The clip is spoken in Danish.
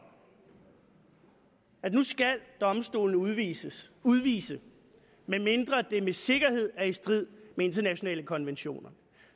at nu skal domstolene udvise udvise medmindre det med sikkerhed er i strid med internationale konventioner